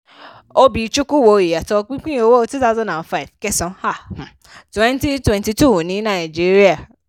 obi-chukwu wo ìyàtọ̀ pípiń owó two thousand and five kẹsàn-án um twenty twenty two ní nàìjíríà.